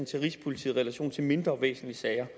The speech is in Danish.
til rigspolitiet i relation til mindre væsentlige sager